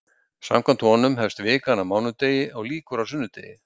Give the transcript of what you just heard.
Samkvæmt honum hefst vikan á mánudegi og lýkur á sunnudegi.